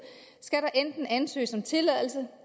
skal der enten ansøges om tilladelse